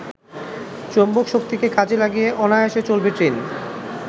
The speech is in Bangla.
চুম্বকশক্তিকে কাজে লাগিয়ে অনায়াসে চলবে ট্রেন।